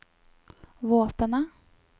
våpenet